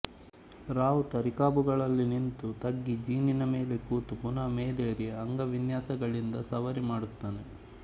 ರಾವುತ ರಿಕಾಬುಗಳಲ್ಲಿ ನಿಂತು ತಗ್ಗಿ ಜೀನಿನ ಮೇಲೆ ಕೂತು ಪುನಃ ಮೇಲೇರಿ ಅಂಗವಿನ್ಯಾಸಗಳಿಂದ ಸವಾರಿ ಮಾಡುತ್ತಾನೆ